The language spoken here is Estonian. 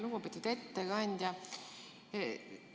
Lugupeetud ettekandja!